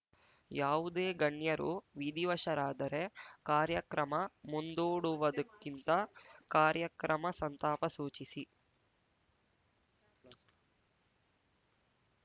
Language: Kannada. ಯಾವುದೇ ಗಣ್ಯರು ವಿಧಿವಶರಾದರೆ ಕಾರ್ಯಕ್ರಮ ಮುಂದೂಡುವುದಕ್ಕಿಂತ ಕಾರ್ಯಕ್ರಮ ಸಂತಾಪ ಸೂಚಿಸಿ